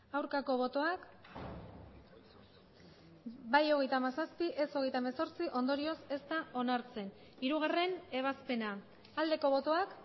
aurkako botoak bai hogeita hamazazpi ez hogeita hemezortzi ondorioz ez da onartzen hirugarren ebazpena aldeko botoak